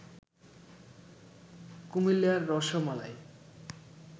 কুমিল্লার রসমালাই